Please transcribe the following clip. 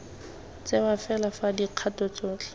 tsewa fela fa dikgato tsotlhe